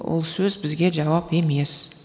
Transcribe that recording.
ол сөз бізге жауап емес